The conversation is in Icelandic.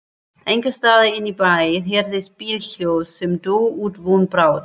Einhversstaðar inní bæ heyrðist bílhljóð sem dó út von bráðar.